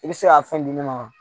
I bɛ se ka fɛn di ne ma